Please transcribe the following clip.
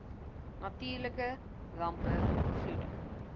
natuurlike rampe vloede